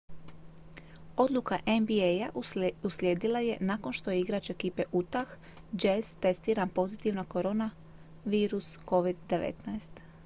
odluka nba-a uslijedila je nakon što je igrač ekipe utah jazz testiran pozitivno na koronavirus covid-19